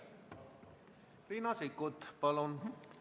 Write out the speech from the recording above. Riina Sikkut, palun!